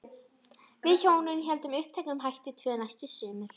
Við hjónin héldum uppteknum hætti tvö næstu sumur.